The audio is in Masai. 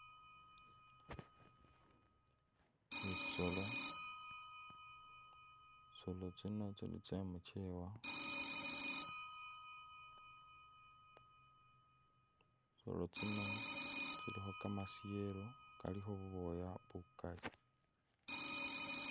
Isolo tsisolo tsino tsili tsemukyewa tsisolo tsino tsilikho kamasyero kalikho buboya bukali.